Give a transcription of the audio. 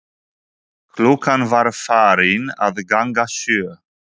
Klukkan var farin að ganga sjö.